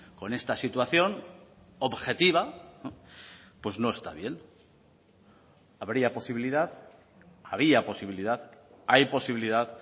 con esta situación objetiva pues no está bien habría posibilidad había posibilidad hay posibilidad